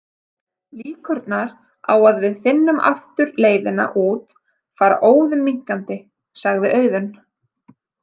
Líkurnar á að við finnum aftur leiðina út fara óðum minnkandi, sagði Auðunn.